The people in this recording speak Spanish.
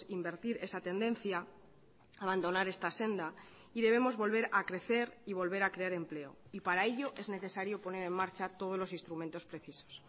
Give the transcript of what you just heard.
invertir esa tendencia abandonar esta senda y debemos volver a crecer y volver a crear empleo y para ello es necesario poner en marcha todos los instrumentos precisos